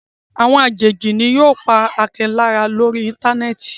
Àwọn àjèjì ni yóò pa Akin lára lórí Íńtánẹ́ẹ̀tì.